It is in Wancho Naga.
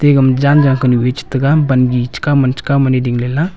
e gama jan jang kunu a che tega bangi chekaw ma chekaw ma ding le la.